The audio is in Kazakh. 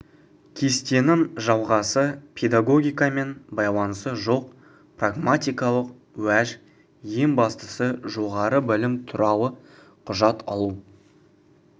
кестенің жалғасы педагогикамен байланысы жоқ прагматикалық уәж ең бастысы жоғары білім туралы құжат алу